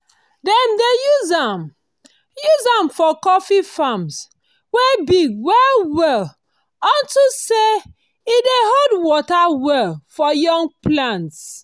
dem dey use am use am for coffee farms wey big well well unto say e dey hold water well for young plants.